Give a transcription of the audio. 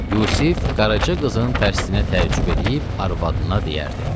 Yusif Qaraca qızın tərsinə təəccüb eləyib arvadına deyərdi: